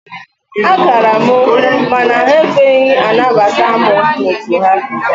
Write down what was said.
A gara m mana ha ekweghị anabata mụ n'otu ha.